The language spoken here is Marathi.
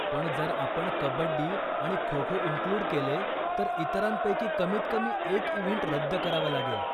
पण जर आपण कब्बडी आणि खो खो इनक्लुड केले, तर इतरांपैकी कमीत कमी एक इव्हेंट रद्द करावा लागेल.